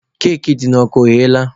Keki dị n'ọkụ ọghela?